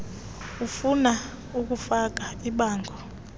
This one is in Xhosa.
ufuna ukufaka ibango